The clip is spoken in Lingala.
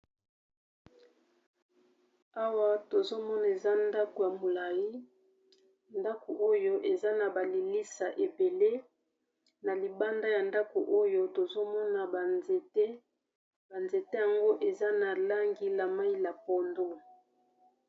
Awa tozomona eza ndako ya molai ndako oyo eza na balilisa ebele, na libanda ya ndako oyo tozomona banzete banzete yango eza na langi la mai la pondo